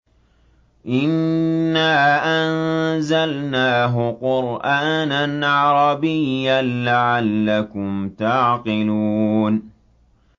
إِنَّا أَنزَلْنَاهُ قُرْآنًا عَرَبِيًّا لَّعَلَّكُمْ تَعْقِلُونَ